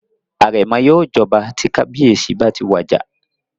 Àrẹ̀mọ yóò jọba tí kábíyèsí bá ti wà àjà